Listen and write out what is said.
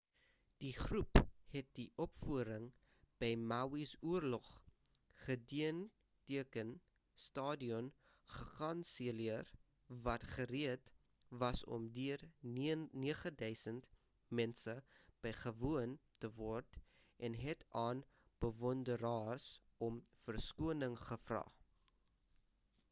die groep het die opvoering by maui's oorlog gedenkteken stadion gekanselleer wat gereed was om deur 9,000 mense bygewoon te word en het aan bewonderaars om verskoning gevra